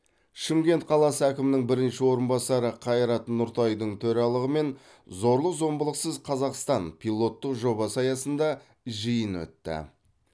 шымкент қаласы әкімінің бірінші орынбасары қайрат нұртайдың төрағалығымен зорлық зомбылықсыз қазақстан пилоттық жобасы аясында жиын өтті